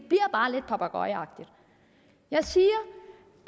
bare lidt papegøjeagtigt jeg siger